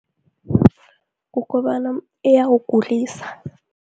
Kukobana iyawugulisa.